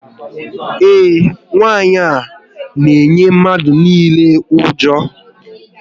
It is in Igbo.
Ee, nwanyị ahụ na eyi mmadụ niile ụjọ